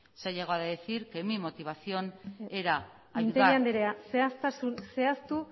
se ha llegado a decir que mi motivación era mintegi andreak zehaztasunak zehaztu